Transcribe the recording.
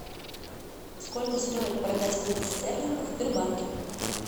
сколько стоит продать фунты стерлингов в сбербанке